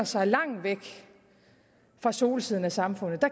sig langt væk fra solsiden af samfundet